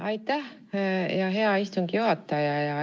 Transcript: Aitäh, hea istungi juhataja!